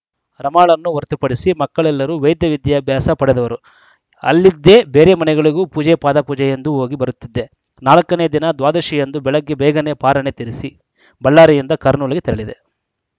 ರಮಾಳನ್ನು ಹೊರತುಪಡಿಸಿ ಮಕ್ಕಳೆಲ್ಲರು ವೈದ್ಯ ವಿದ್ಯಾಭ್ಯಾಸ ಪಡೆದವರು ಅಲ್ಲಿದ್ದೇ ಬೇರೆ ಮನೆಗಳಿಗೂ ಪೂಜೆಪಾದಪೂಜೆಯೆಂದು ಹೋಗಿ ಬರುತ್ತಿದ್ದೆ ನಾಲ್ಕನೇ ದಿನ ದ್ವಾದಶಿಯಂದು ಬೆಳಗ್ಗೆ ಬೇಗನೇ ಪಾರಣೆ ತೀರಿಸಿ ಬಳ್ಳಾರಿಯಿಂದ ಕರ್ನೂಲಿಗೆ ತೆರಳಿದೆ